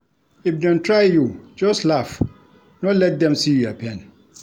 If dem try you, just laugh, no let dem see your pain.